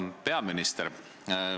Hea peaminister!